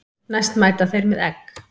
Næst mæta þeir með egg.